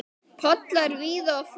Pollar víða og for.